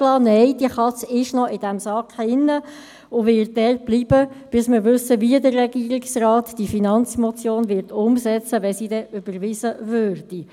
Nein, die Katze steckt noch in diesem Sack und bleibt dort, bis wir wissen, wie der Regierungsrat die Finanzmotion () umsetzen wird, sollte sie denn überwiesen werden.